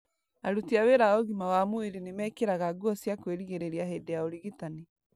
Aruti a wĩra a ũgima wa mwĩrĩ nĩmekĩraga nguo cia kwĩrigĩrĩria hĩndĩ ya ũrigitani